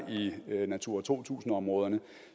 i natura to tusind områderne